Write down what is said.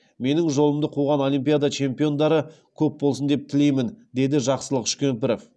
менің жолымды қуған олимпиада чемпиондары көп болсын деп тілеймін деді жақсылық үшкемпіров